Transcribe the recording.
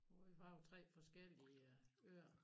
Hvor vi var på tre forskellige øer